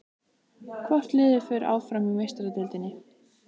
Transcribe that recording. Hvort liðið fer áfram í Meistaradeildinni?